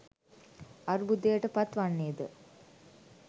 අර්බුදයටපත් වන්නේ ද